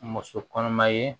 Muso kɔnɔma ye